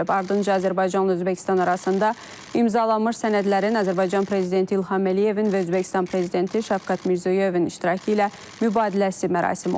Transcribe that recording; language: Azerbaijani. Ardınca Azərbaycanla Özbəkistan arasında imzalanmış sənədlərin Azərbaycan prezidenti İlham Əliyevin və Özbəkistan prezidenti Şəfqət Mirzoyevin iştirakı ilə mübadiləsi mərasimi olub.